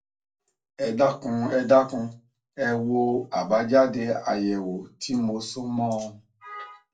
ẹ dákun ẹ dákun ẹ wo àbájáde àyẹwò tí mo so mọ ọn